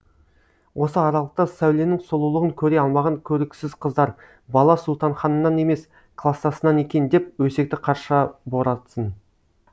осы аралықта сәуленің сұлулығын көре алмаған көріксіз қыздар бала сұлтанханнан емес кластасынан екен деп өсекті қарша боратсын